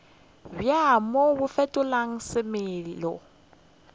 bja mo bo fetola semelo